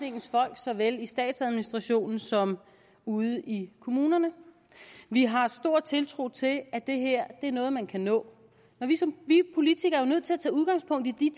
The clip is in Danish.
i såvel statsadministrationen som ude i kommunerne vi har stor tiltro til at det her er noget man kan nå vi politikere er jo nødt til at tage udgangspunkt i de